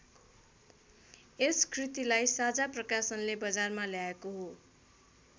यस कृतिलाई साझा प्रकाशनले बजारमा ल्याएको हो।